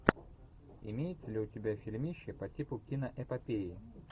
имеется ли у тебя фильмище по типу киноэпопеи